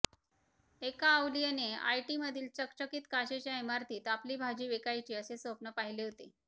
एका अवलीयने आयटीमधील चकचकीत काचेच्या इमारतीत आपली भाजी विकायची असे स्वप्न पाहिले होते